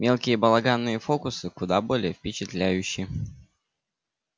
мелкие балаганные фокусы куда более впечатляющи